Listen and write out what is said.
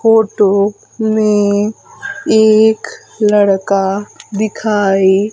photo में एक लड़का दिखाई--